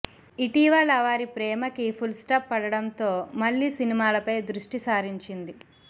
ఇటీవల వారి ప్రేమకి ఫుల్ స్టాప్ పడడంతో మళ్ళీ సినిమాలపై దృష్టి సారించింది